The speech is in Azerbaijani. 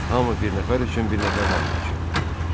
Hamı bir nəfər üçün, bir nəfər hamı üçün.